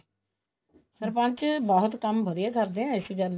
ਸਰਪੰਚ ਬਹੁਤ ਕੰਮ ਵਧੀਆ ਕਰਦੇ ਨੇ ਇਸੀ ਗੱਲ ਨਹੀਂ